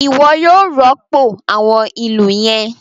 Iwọ yóò rọpo awọn ilú yẹn!